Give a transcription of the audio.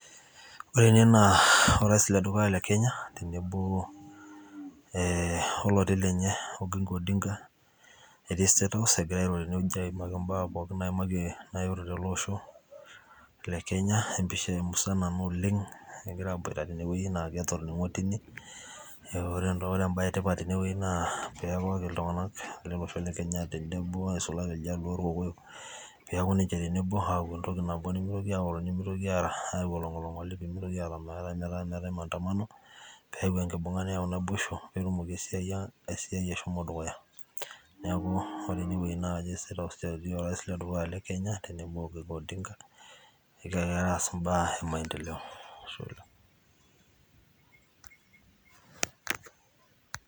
ore ene naa orais ledukuya le kenya, tenebo ee oloti lenye ginga odinga etii statehouse. egira aimaki ibaa pooki ele osho le kenya empisha musana ena oleng. egira aaboita tene wueji, naa ketoning'ote, ore ebae etipat tene wueji naa keeku ore iltunganak lolosho le kenya naa, neisulaki iljaluo orkokoyok. kepuo aaku entoki nabo nemeitoki aaoro, nmeitoki aayau olingolingoli. nimitokini aata maandamano. peeku enkibungata, neyau naboisho, neeku esiai ang. eiai eshomo dukuya. neeku ore ene wueji naa kajo ke state house etii orais ledukuya le kenya, tenebo iginga odinga, egira aas ibaa e maendeleo